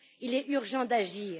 Il est urgent d'agir.